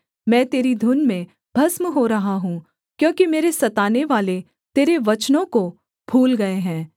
मैं तेरी धुन में भस्म हो रहा हूँ क्योंकि मेरे सतानेवाले तेरे वचनों को भूल गए हैं